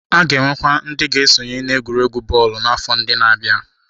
A ga-enwekwu ndị ga-esonye n'egwuregwu bọọlụ n'afọ ndị na-abịa.